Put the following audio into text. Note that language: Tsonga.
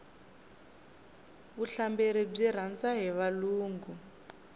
vuhlamberi byi rhandza hi valungu